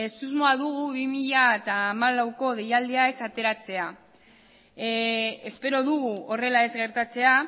susmoa dugu bi mila hamalaueko deialdia ez ateratzea espero dugu horrela ez gertatzea